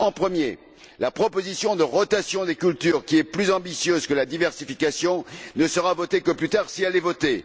Or, la proposition de rotation des cultures, qui est plus ambitieuse que la diversification, ne sera votée que plus tard, si elle est votée.